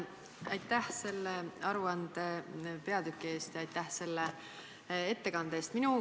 Aitäh selle aruande peatüki eest, aitäh selle ettekande eest!